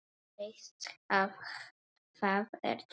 Veist að það ertu ekki.